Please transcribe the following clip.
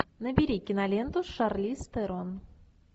набери киноленту с шарлиз терон